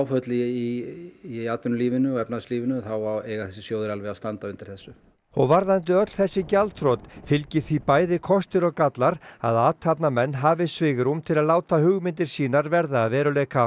í atvinnulífinu og efnahagslífinu þá eiga þessir sjóðir alveg að standa undir þessu varðandi öll þessi gjaldþrot fylgi því bæði kostir og gallar að athafnamenn hafi svigrúm til að láta hugmyndir sínar verða að veruleika